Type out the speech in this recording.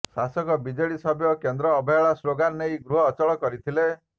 ଶାସକ ବିଜେଡି ସଭ୍ୟ କେନ୍ଦ୍ର ଅବହେଳା ସ୍ଲୋଗାନ୍ ନେଇ ଗୃହ ଅଚଳ କରିଥିଲେ